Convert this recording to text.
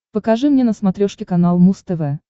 покажи мне на смотрешке канал муз тв